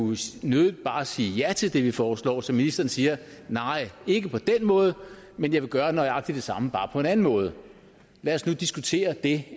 nødig bare sige ja til det vi foreslår så ministeren siger nej ikke på den måde men jeg vil gøre nøjagtig det samme bare på en anden måde lad os nu diskutere det